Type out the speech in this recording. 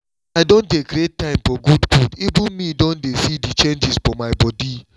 as i don dey create time for good food even me don dey see the changes for my body